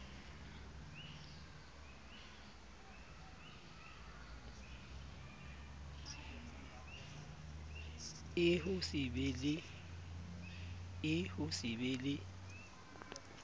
r ho se be le